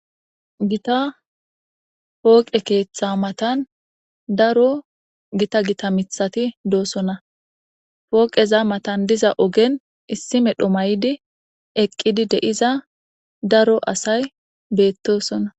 gita pooqe keeththa matan daro gita gita mithati doosonna pooqeza matan diza ogen issi medho may7di eqqidi de7iza daro asay beettosonna